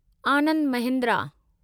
Anand Mahindra